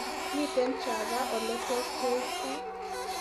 Miten chava oletos keip gaa